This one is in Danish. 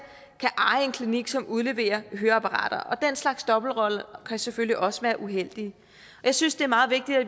kan eje en klinik som udleverer høreapparater og den slags dobbeltroller kan selvfølgelig også være uheldige jeg synes det er meget vigtigt at